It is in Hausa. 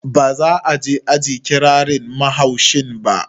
Ba za'a je aji ƙirarin mahaushin ba